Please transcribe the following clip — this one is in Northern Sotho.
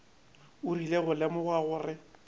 o rile go lemoga gore